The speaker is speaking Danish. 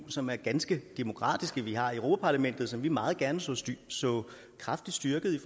som er ganske demokratiske vi har europa parlamentet som vi meget gerne så så kraftigt styrket i